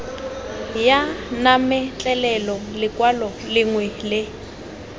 ya mametlelelo lekwalo lengwe le